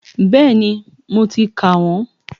Bẹ́ẹ̀ni, mo ti kà wọ́n